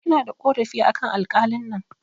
Ina da ƙorafi akan alƙalin nan